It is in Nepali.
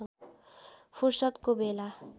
फुर्सदको बेला